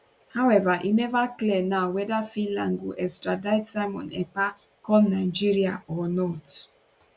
howeva e neva clear now weda finland go extradite simon ekpa come nigeria or not